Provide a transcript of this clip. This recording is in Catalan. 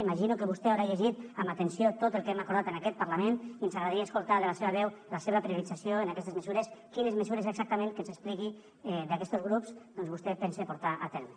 imagino que vostè haurà llegit amb atenció tot el que hem acordat en aquest parlament i ens agradaria escoltar de la seva veu la seva priorització en aquestes mesures quines mesures exactament que ens ho expliqui d’aquestos grups doncs vostè pensa portar a terme